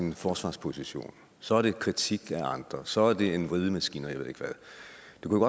forsvarsposition så er det kritik af andre så er det en vridemaskine